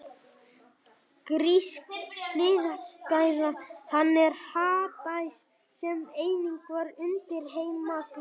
Grísk hliðstæða hans er Hades sem einnig var undirheimaguð.